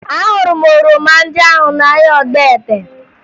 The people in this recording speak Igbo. Ahụrụ m oroma ndị ahụ n'ahịa Ogbete